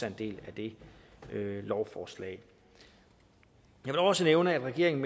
en del af det lovforslag jeg vil også nævne at regeringen